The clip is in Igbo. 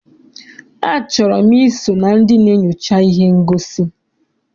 A chọrọ m I so na ndị na-enyocha ihe ngosi.